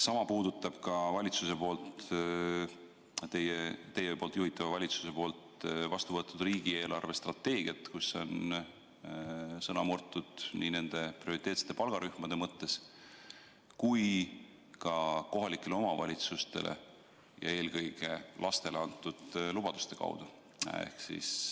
Sama puudutab teie juhitava valitsuse vastu võetud riigi eelarvestrateegiat, kus on sõna murtud nii prioriteetsetele palgarühmadele kui ka kohalikele omavalitsustele ja eelkõige lastele antud lubaduste puhul.